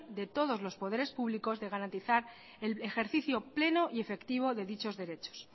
de todos los poderes públicos de garantizar el ejercicio pleno y efectivo de dichos derechos